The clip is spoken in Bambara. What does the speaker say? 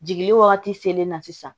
Jigili wagati selen na sisan